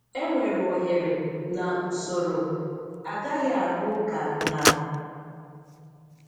Enwere oghere na usoro; agaghị arụ ụka na.